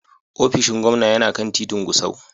Ofishin gwamna yana kan titin Gusau.